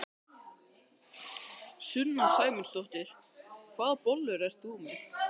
Sunna Sæmundsdóttir: Hvaða bollur ert þú með?